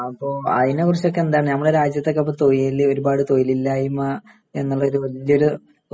അപ്പോ അതിനെക്കുറിച്ചൊക്കെ എന്താണ് നമ്മുടെ രാജ്യത്തൊക്കെ ഇപ്പൊ തൊയില് ഒരുപാട് തൊയിലില്ലായ്മ എന്നുള്ളൊരു വല്ല്യൊരു